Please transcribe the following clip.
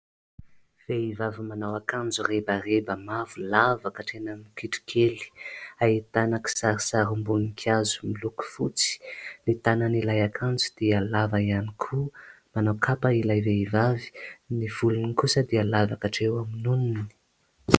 Vehivavy manao akanjo rebareba mavo lava ka hatreny amin'ny kitrokely, ahitana kisarisarim-boninkazo miloko fotsy. Ny tanan'ilay akanjo dia lava ihany koa. Manao kapa ilay vehivavy. Ny volony kosa dia lava ka hatreo amin'ny nonony.